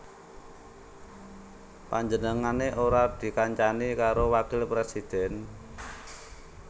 Panjenengané ora dikancani karo wakil presidhèn